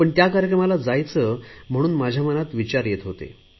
पण त्या कार्यक्रमाला जायचे म्हणून माझ्या मनात विचार येत होते